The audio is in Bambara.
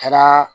Kɛra